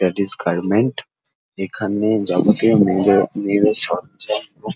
that is garment এখানে যাবতীয় মেয়েদের মেয়েদের সব জায়গায়--